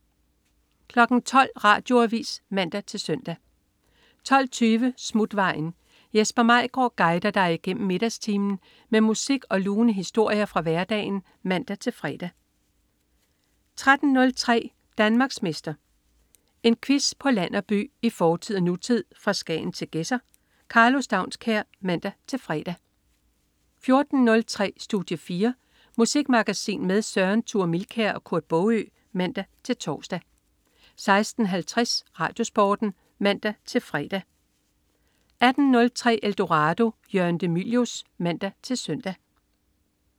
12.00 Radioavis (man-søn) 12.20 Smutvejen. Jesper Maigaard guider dig igennem middagstimen med musik og lune historier fra hverdagen (man-fre) 13.03 Danmarksmester. En quiz på land og by, i fortid og nutid, fra Skagen til Gedser. Karlo Staunskær (man-fre) 14.03 Studie 4. Musikmagasin med Søren Thure Milkær og Kurt Baagø (man-tors) 16.50 RadioSporten (man-fre) 18.03 Eldorado. Jørgen de Mylius (man-søn)